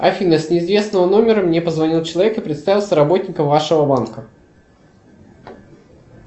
афина с неизвестного номера мне позвонил человек и представился работником вашего банка